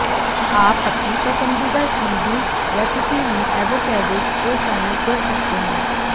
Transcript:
आप अपनी पसंदीदा स्मूदी रेसिपी में एवोकैडो को शामिल कर सकते हैं